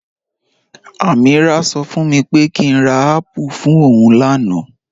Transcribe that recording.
Ameerah ṣọ fún mi pé kí n rà apple fún ọún làànà